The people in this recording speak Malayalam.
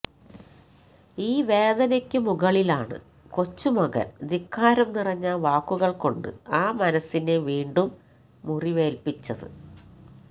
ഈ വേദനയ്ക്ക് മുകളിലാണ് കൊച്ചുമകൻ ധിക്കാരം നിറഞ്ഞ വാക്കുകൾ കൊണ്ട് ആ മനസ്സിനെ വീണ്ടും മുറിവേല്പിച്ചത്